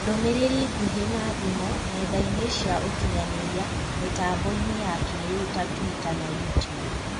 Ndũmĩrĩri ngũhĩ na thimũ / ng'enda-inĩ cia ũkinyanĩria/ mĩtamboinĩ ya kĩĩrĩu ta Tuita na YouTube.